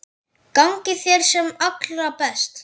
Gangi þér sem allra best.